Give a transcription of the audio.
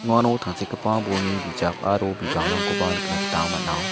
uano tangsekgipa bolni bijak aro bipangrangkoba nikna gita man·a.